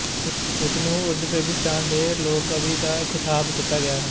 ਉਸ ਨੂੰ ਉਜ਼ਬੇਕਿਸਤਾਨ ਦੇ ਲੋਕ ਕਵੀ ਦਾ ਖਿਤਾਬ ਦਿੱਤਾ ਗਿਆ ਹੈ